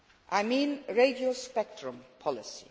I mean radio spectrum policy.